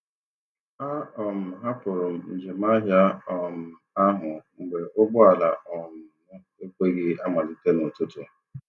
A um hapụrụ m njem ahịa um ahụ mgbe ụgbọala um m ekweghị amalite n'ụtụtụ.